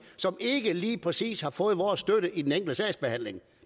som ikke lige præcis har fået vores støtte i den enkelte sagsbehandling